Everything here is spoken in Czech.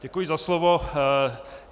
Děkuji za slovo.